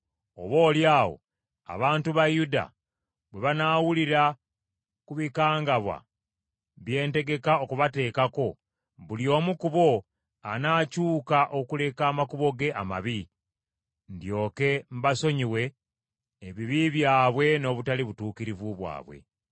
Oboolyawo abantu ba Yuda bwe banaawulira ku bikangabwa bye ntegeka okubateekako, buli omu ku bo anaakyuka okuleka amakubo ge amabi, ndyoke mbasonyiwe ebibi byabwe n’obutali butuukirivu bwabwe.”